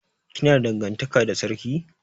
Kina da dangantaka da sarki?